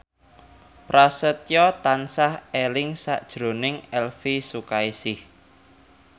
Prasetyo tansah eling sakjroning Elvy Sukaesih